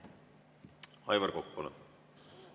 Aivar Kokk, palun!